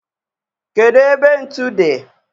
kedu ebe ntu dị?